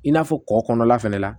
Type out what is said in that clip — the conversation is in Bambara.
I n'a fɔ kɔ kɔnɔna fana la